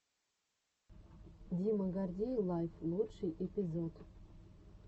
дима гордей лайв лучший эпизод